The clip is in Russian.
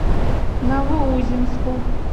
новоузенску